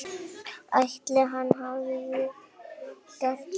Ætli hann hafi gert það?